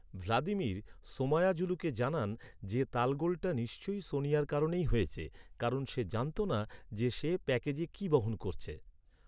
Vladimir, সোমায়াজুলুকে জানান যে, তালগোলটা নিশ্চয়ই সোনিয়ার কারণেই হয়েছে। কারণ সে জানত না যে সে প্যাকেজে কী বহন করছে।